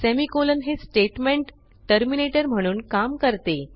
semicolon हे statement terminator म्हणून काम करते